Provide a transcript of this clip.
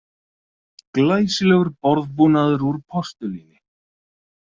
Glæsilegur borðbúnaður úr postulíni